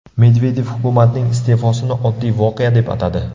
Medvedev hukumatning iste’fosini oddiy voqea deb atadi.